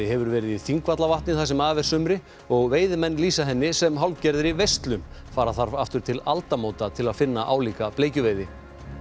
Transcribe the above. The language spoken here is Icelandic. hefur verið í Þingvallavatni það sem af er sumri og veiðimenn lýsa henni sem hálfgerðri veislu fara þarf aftur til aldamóta til að finna álíka bleikjuveiði